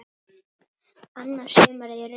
Annað sumarið í röð.